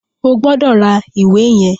O gbọdọ̀ ra ìwé yẹn.